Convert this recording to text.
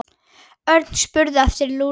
Örn spurði eftir Lúlla.